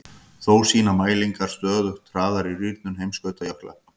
Þá sýna mælingar stöðugt hraðari rýrnun heimskautajökla.